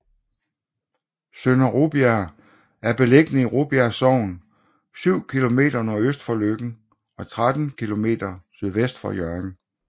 Sønder Rubjerg er beliggende i Rubjerg Sogn syv kilometer nordøst for Løkken og 13 kilometer sydvest for Hjørring